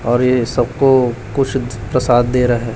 और ये सब को कुछ प्रसाद दे रहा है।